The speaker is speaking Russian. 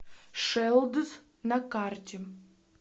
шэлдс на карте